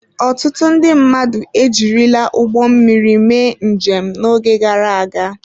Ọtụtụ ndị mmadụ ejirila ụgbọ mmiri mee njem n'oge gara aga.